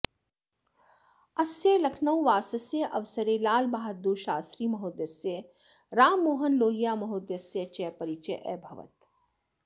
अस्य लखनौवासस्य अवसरे लालबहाद्दूरशास्त्रिमहोदयस्य राममोहन लोहियामहोदयस्य च परिचयः अभवत्